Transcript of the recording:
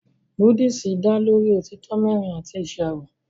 Búdíìsì dá lórí òtítọ́ mẹ́rin àti ìṣàrò